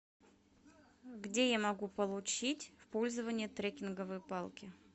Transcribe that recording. где я могу получить в пользование трекинговые палки